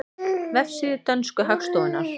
Vefsíða dönsku hagstofunnar